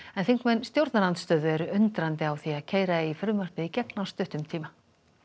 þingmenn stjórnarandstöðu eru undrandi á því að keyra eigi frumvarpið í gegn á stuttum tíma